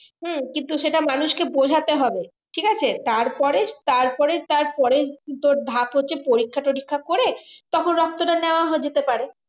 হম কিন্তু সেটা মানুষকে বোঝাতে হবে ঠিক আছে তারপরে তারপরে তারপরে ধাপ হচ্ছে পরীক্ষা টরীক্ষা করে তখন রক্তটা নেওয়া যেতে পারে